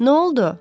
Nə oldu?